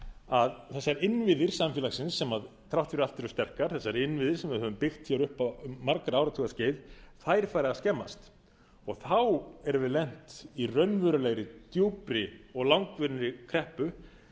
að þessir innviði samfélagsins sem þrátt fyrir allt eru sterkir þessir innviðir samfélagsins sem þrátt fyrir allt eru sterkir þessir innviðir sem við höfum byggt upp um margra áratuga skeið fari að skemmast þá erum við lent í raunverulegri djúpri og langvinnri kreppu